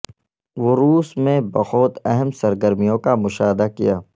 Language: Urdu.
وہ روس میں بہت اہم سرگرمیوں کا مشاہدہ کیا